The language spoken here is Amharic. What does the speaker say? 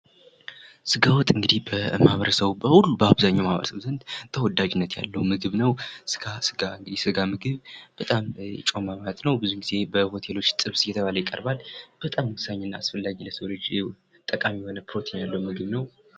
ስጋት እንግዲህ በማህበረሰቡ በሁሉ በአበዛኛው ማህበረሰብ ዘንድ ተወዳጅነት ያለው ምግብ ነው ጋ ስጋ ምግብ እንግዲ ጮማ ማለት ነው። ሆቴሎች ዘንድ ስጋ ጥብስ እየተባለ ይቀርባል በጣም እንግዲህ ለሰው ልጅ አስፈላጊ ፕሮቲን ያለው ምግብ ነው።